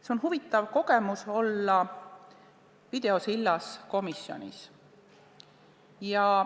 See on huvitav kogemus, olla videosillas komisjonis.